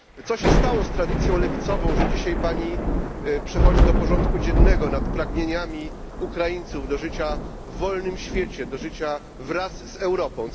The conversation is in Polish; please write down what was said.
Co się stało z tradycją lewicową, że dziś przechodzi Pani do porządku dziennego nad pragnieniami Ukraińców do życia w wolnym świecie, do życia wraz z Europą?